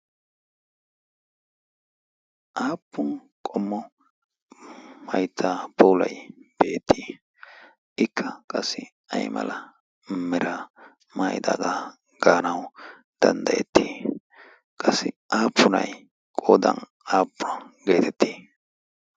aappun qommo maitta poulai beettii ikka qassi ay mala mera maaidaagaa gaanawu danddayettii qassi aappunai qodan aappua geetettii?